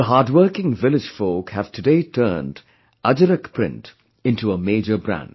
The hardworking village folk have today turned 'Ajrak print' into a major brand